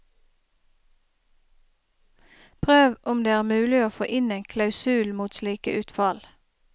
Prøv om det er mulig å få inn en klausul mot slike utfall.